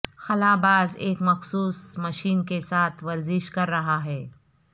خلا باز ایک مخصوص مشین کے ساتھ ورزش کر رہا ہے